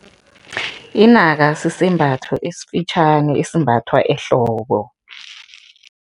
Inaka sisembatho esifitjhani esimbathwa ehloko.